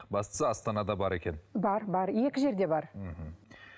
бастысы астанада бар екен бар бар екі жерде бар мхм